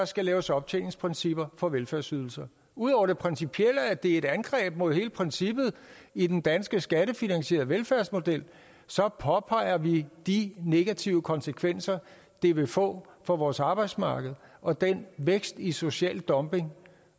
skal laves optjeningsprincipper for velfærdsydelser ud over det principielle i at det er et angreb mod hele princippet i den danske skattefinansierede velfærdsmodel påpeger vi de negative konsekvenser det vil få for vores arbejdsmarked og den vækst i social dumping